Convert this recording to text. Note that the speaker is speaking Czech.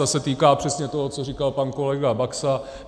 Ta se týká přesně toho, co říkal pan kolega Baxa.